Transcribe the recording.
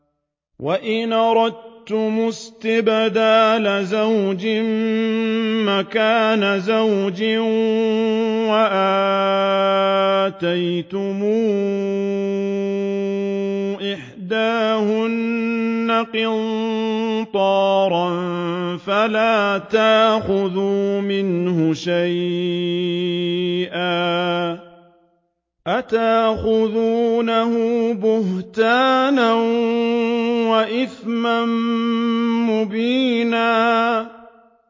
وَإِنْ أَرَدتُّمُ اسْتِبْدَالَ زَوْجٍ مَّكَانَ زَوْجٍ وَآتَيْتُمْ إِحْدَاهُنَّ قِنطَارًا فَلَا تَأْخُذُوا مِنْهُ شَيْئًا ۚ أَتَأْخُذُونَهُ بُهْتَانًا وَإِثْمًا مُّبِينًا